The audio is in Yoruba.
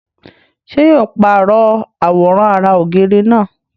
ṣé yóò pàrọ̀ àwòrán ara ògiri náà?